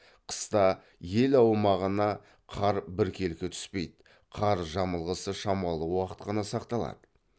қыста ел аумағына қар біркелкі түспейді қар жамылғысы шамалы уақыт қана сақталады